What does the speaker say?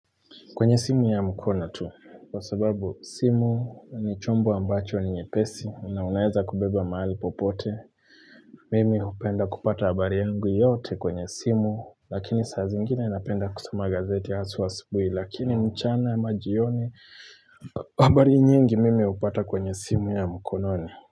Kwenye simu ya mkono tu, kwa sababu simu ni chombo ambacho ni nyepesi na unaeza kubeba mahali popote. Mimi hupenda kupata habari yangu yote kwenye simu, lakini saa zingine napenda kusoma gazeti haswa asubuhi, lakini mchana ama jioni, habari nyingi mimi hupata kwenye simu ya mkononi.